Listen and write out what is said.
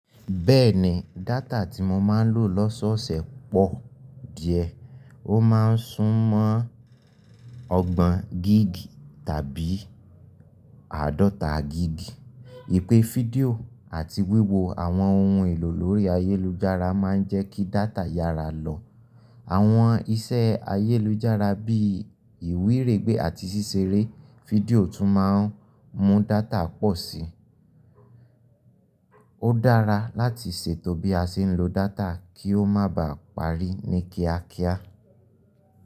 Bẹ́ẹ̀ni, data tí mo máa ń lò lọ́sọ́ọ̀sẹ̀ pọ̀ díẹ̀. Ó máa ń súnmọ́ ọgbọ̀n gig tàbí àádọ́ta gig. Ìpè fídíò àti wíwo àwọn ohun èlò lórí ayélujára máa ń jẹ́ kí data yára lọ. Àwọn iṣẹ́ ayélujára bí ìwíregbé àti ṣíṣeré fídíò tún máa ń mú data pọ̀ sí i. Ó dára láti ṣètò bí a ṣe ń lo data kí ó máa ba parí ní kíákíá.